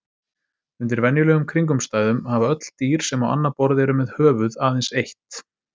Undir venjulegum kringumstæðum hafa öll dýr sem á annað borð eru með höfuð aðeins eitt.